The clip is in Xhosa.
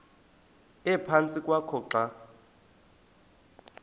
ephantsi kwakho xa